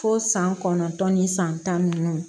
Fo san kɔnɔntɔn ni san tan ni duuru